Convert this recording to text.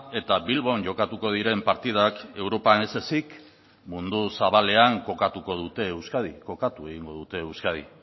eta bilbon jokatuko diren partidak europan ez ezik mundu zabalean kokatuko dute euskadi kokatu egingo dute euskadi